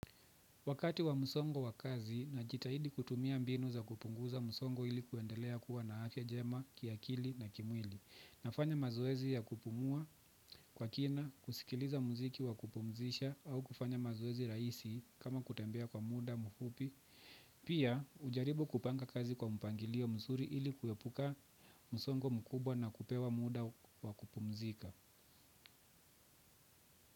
Wakati wa msongo wa kazi, najitahidi kutumia mbinu za kupunguza msongo ili kuendelea kuwa na afya njema, kiakili na kimwili. Nafanya mazoezi ya kupumua kwa kina, kusikiliza muziki wa kupumzisha au kufanya mazoezi rahisi kama kutembea kwa muda, mfupi. Pia, hujaribu kupanga kazi kwa mpangilio mzuri ili kuepuka msongo mkubwa na kupewa muda wa kupumzika.